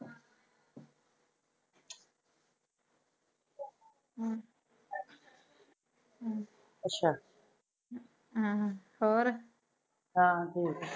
ਹਮ ਅੱਛ ਹਮ ਹੋਰ ਹਾ ਠੀਕ